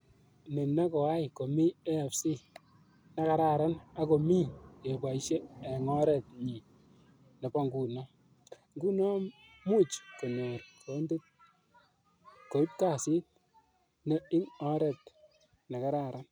Ni ne koai komi AFC ne kararan ak ko mi kepoishe eng oret nyi nepo nguno, nguno much konyor kondit koip kasit no ing oret ne kararan.